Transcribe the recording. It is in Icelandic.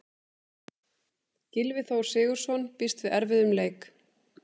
Gylfi Þór Sigurðsson býst við erfiðum leik.